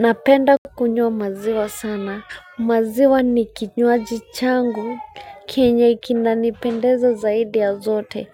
Napenda kukunywa maziwa sana, maziwa ni kinywaji changu, kenye kikinanipendeza zaidi ya zote,